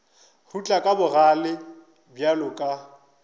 rutla ka bogale bjalo ka